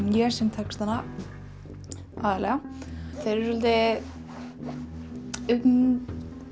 ég sem textana aðallega þeir eru um